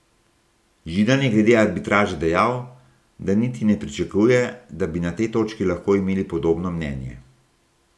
Židan je glede arbitraže dejal, da niti ne pričakuje, da bi na tej točki lahko imeli podobno mnenje.